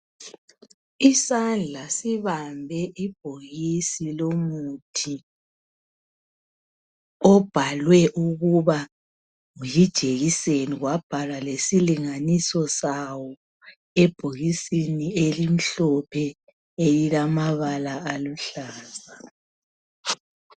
Isandla sibambe ibhokisi lomuthi obhalwe ukuba yijekiseni kwabhalwa lesilinganiso sawo ebhokisini elimhlophe elilamabala aluhlaza.